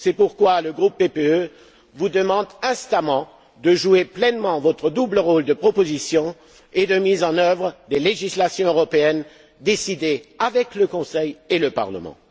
C'est pourquoi le groupe PPE vous demande instamment de jouer pleinement votre double rôle de proposition et de mise en œuvre des législations européennes décidées avec le Conseil et le Parlement.